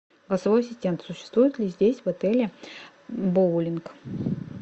голосовой ассистент существует ли здесь в отеле боулинг